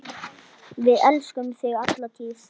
Við elskum þig alla tíð.